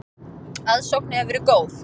Aðsókn hefur verið góð.